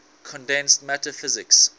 condensed matter physics